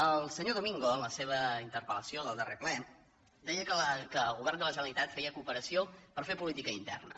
el senyor domingo en la seva interpel·lació del darrer ple deia que el govern de la generalitat feia cooperació per fer política interna